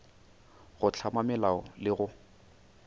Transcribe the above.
go hlama melao le go